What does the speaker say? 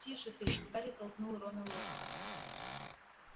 тише ты гарри толкнул рона локтем